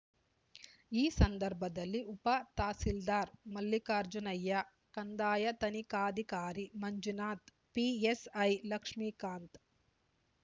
ಈ ಸಂದರ್ಭದಲ್ಲಿ ಉಪತಹಶೀಲ್ದಾರ್ ಮಲ್ಲಿಕಾರ್ಜುನಯ್ಯ ಕಂದಾಯ ತನಿಖಾಧಿಕಾರಿ ಮಂಜುನಾಥ್ ಪಿಎಸ್ಐ ಲಕ್ಷ್ಮಿಕಾಂತ್